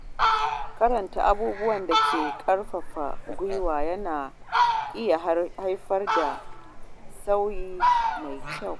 Karanta abubuwan da ke ƙarfafa gwiwa yana iya haifar da sauyi mai kyau.